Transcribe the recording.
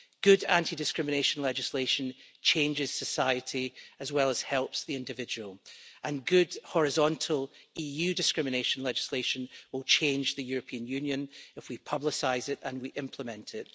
Good anti discrimination legislation changes society and helps the individual, and good horizontal EU discrimination legislation will change the European Union if we publicise it and we implement it.